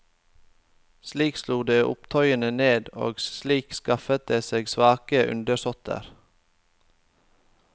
Slik slo de opptøyene ned, og slik skaffet de seg svake undersåtter.